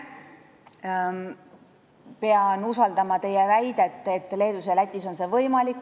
Pean usaldama teie väidet, et Leedus ja Lätis on see nii.